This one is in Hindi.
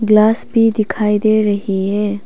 ग्लास भी दिखाई दे रही है।